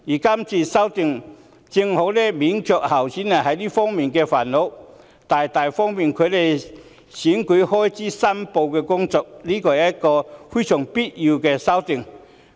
這項修訂正好免卻候選人這方面的煩惱，大大利便他們申報選舉開支，是非常必要的修訂。